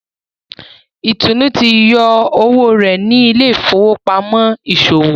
Itunu tí yọ owó rẹ ní Ile-ifowopamọ iṣowo.